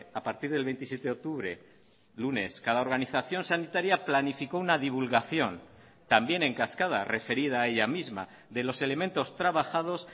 a partir del veintisiete de octubre lunes cada organización sanitaria planificó una divulgación también en cascada referida a ella misma de los elementos trabajados